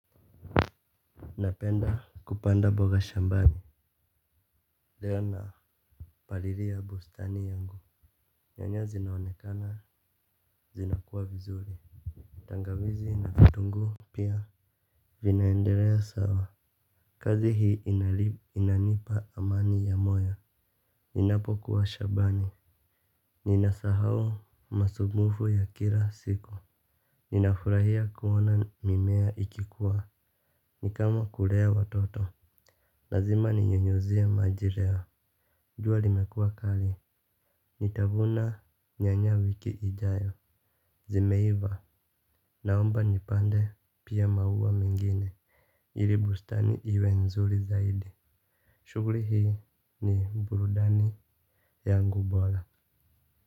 Napenda kupanda boga shambani. Leo na palilia bustani yangu. Nyanya zinaonekana zinakuwa vizuri. Tangawizi na vitunguu pia vinaendelea sawa. Kazi hii inanipa amani ya moyo. Ninapokuwa shabani ninasahau masubufu ya kila siku. Ninafurahia kuona mimea ikikuwa. Ni kama kulea watoto lazima ninyunyuzie maji reo jua linekua kali, nitavuna nyanya wiki ijayo. Zimeiva, naomba nipande pia maua mengine ili bustani iwe nzuri zaidi. Shuguri hii ni burudani yangu bola.